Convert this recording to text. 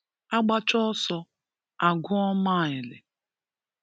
A gbachaa ọsọ a guọ mile